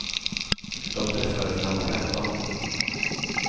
De träffades när de var femton.